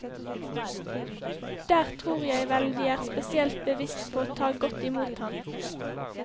Der tror jeg vel de er spesielt bevisst på å ta godt imot ham.